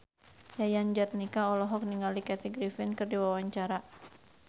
Yayan Jatnika olohok ningali Kathy Griffin keur diwawancara